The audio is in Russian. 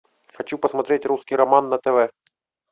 хочу посмотреть русский роман на тв